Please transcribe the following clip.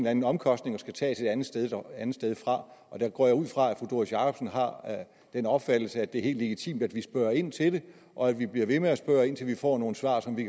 anden omkostning og skal tages et andet sted andet sted fra og der går jeg ud fra at fru doris jakobsen har den opfattelse at det er helt legitimt at vi spørger ind til det og at vi bliver ved med at spørge indtil vi får nogle svar så vi